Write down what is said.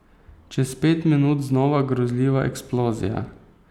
Čez pet minut znova grozljiva eksplozija.